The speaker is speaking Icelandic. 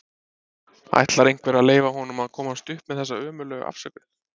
Ætlar einhver að leyfa honum að komast upp með þessa ömurlegu afsökun??